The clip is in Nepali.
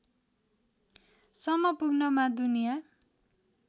सम्म पुग्नमा दुनिया